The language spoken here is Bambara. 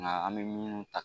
An bɛ minnu ta